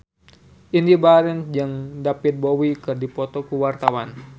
Indy Barens jeung David Bowie keur dipoto ku wartawan